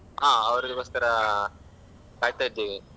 So ಹಾ ಅವರಿಗೋಸ್ಕರ ಅಹ್ ಕಾಯ್ತಾ ಇದ್ದೇವೆ.